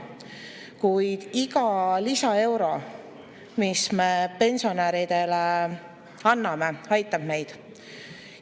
Kuid iga lisaeuro, mis me pensionäridele anname, aitab neid.